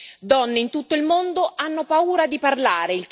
Le donne in tutto il mondo hanno paura di parlare.